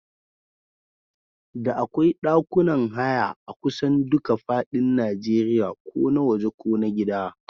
Da akwai ɗakunan haya akusan duka fadin Najeriya ko na waje ko na gida.